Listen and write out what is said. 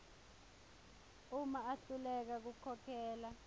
uma ahluleka kukhokhela